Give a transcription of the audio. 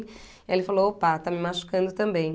Aí ele falou, opa, está me machucando também.